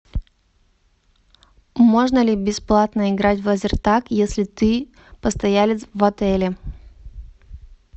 можно ли бесплатно играть в лазертаг если ты постоялец в отеле